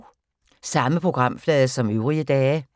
Samme programflade som øvrige dage